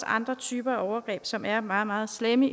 andre typer af overgreb som er meget meget slemme